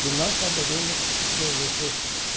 Que nós saberemos por você.